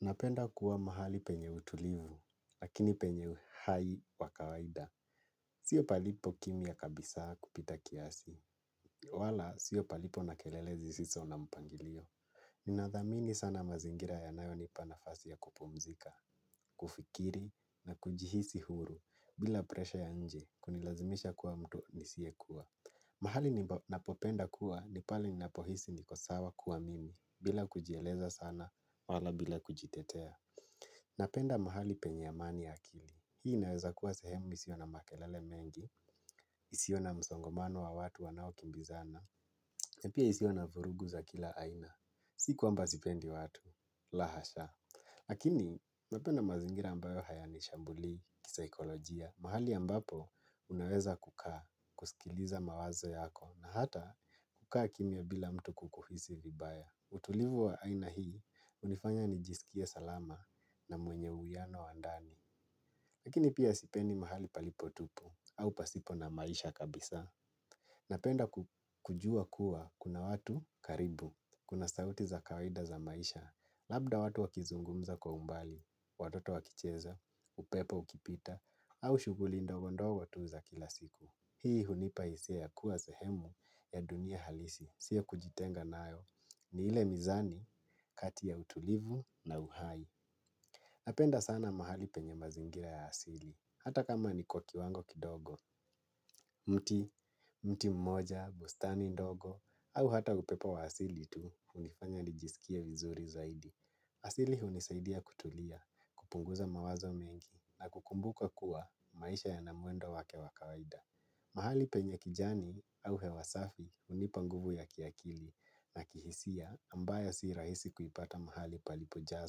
Napenda kuwa mahali penye utulivu. Lakini penye hai wa kawaida. Sio palipo kimya kabisa kupita kiasi. Wala, sio palipo na kelele zisiso na mpangilio. Ninathamini sana mazingira yanayo nipa nafasi ya kupumzika. Kufikiri na kujihisi huru, bila presha ya nje, kunilazimisha kuwa mtu nisie kuwa. Mahali napopenda kua, ni pale ninapohisi niko sawa kua mimi, bila kujieleza sana, wala bila kujitetea. Napenda mahali penye amani ya akili. Hii inaweza kuwa sehemu isio na makelele mengi, isio na msongomano wa watu wanaokimbizana, na pia isio na vurugu za kila aina. Sikuamba sipendi watu, lahasha. Lakini, napenda mazingira ambayo hayani shambuli kisaikolojia. Mahali ambapo, unaweza kukaa, kusikiliza mawazo yako, na hata kukaa kimya bila mtu kukuhisi vibaya. Utulivu wa aina hii, hunifanya nijisikie salama na mwenye uiano wa ndani. Lakini pia sipendi mahali palipotupu au pasipo na maisha kabisa. Napenda kujua kuwa, kuna watu karibu, kuna sauti za kawaida za maisha, labda watu wakizungumza kwa umbali, watoto wakicheza, upepo ukipita, au shughuli ndogo ndogo tu za kila siku. Hii, hunipa hisia ya kuwa sehemu ya dunia halisi, si yakujitenga nayo ni ile mizani, kati ya utulivu na uhai. Napenda sana mahali penye mazingira ya asili, hata kama ni kwa kiwango kidogo, mti, mti mmoja, bustani ndogo, au hata upepo wa asili tu, hunifanya nijisikie vizuri zaidi. Asili hunisaidia kutulia, kupunguza mawazo mengi na kukumbuka kuwa, maisha yanamwendo wake wa kawaida. Mahali penye kijani, au hewasafi unipanguvu ya kiakili na kihisia, ambayo siirahisi kuipata mahali palipojaa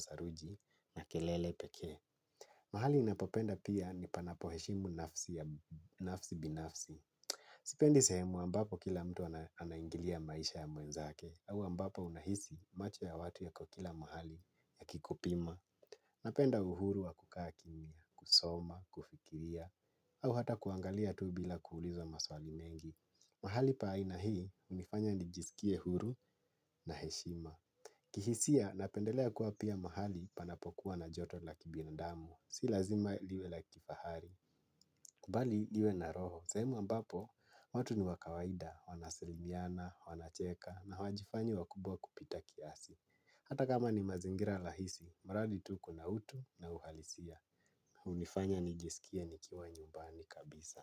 saruji na kelele pekee. Mahali ninapopenda pia ni panapoheshimu nafsi binafsi. Sipendi sehemu ambapo kila mtu anaingilia maisha ya mwenzake au ambapo unahisi, macho ya watu yako kila mahali yakikupima. Napenda uhuru wa kukaa kimya. Kusoma, kufikiria, au hata kuangalia tu bila kuulizwa maswali mengi. Mahali pa aina hii, unifanya nijisikie huru na heshima. Kihisia, napendelea kuwa pia mahali, panapokua na joto la kibinadamu. Si lazima liwe la kifahari. Bali liwe na roho, sehemu ambapo, watu niwakawaida. Wanaselimiana, wanacheka, na hawajifanyi wakubwa kupita kiasi. Hata kama ni mazingira rahisi, mradi tu kuna utu na uhalisia. Unifanya nijisikie nikiwa nyumbani kabisa.